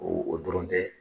O o dɔrɔn tɛ